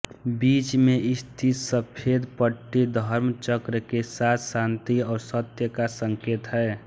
बीच में स्थित सफेद पट्टी धर्म चक्र के साथ शांति और सत्य का संकेत है